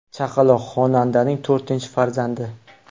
Chaqaloq xonandaning to‘rtinchi farzandi .